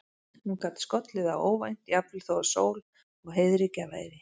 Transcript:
Hún gat skollið á óvænt, jafnvel þó að sól og heiðríkja væri.